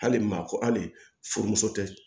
Hali maa ko hali furumuso tɛ